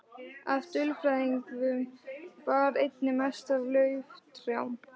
Af dulfrævingum bar einna mest á lauftrjám.